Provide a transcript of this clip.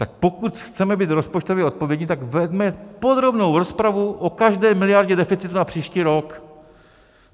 Tak pokud chceme být rozpočtově odpovědní, tak veďme podrobnou rozpravu o každé miliardě deficitu na příští rok.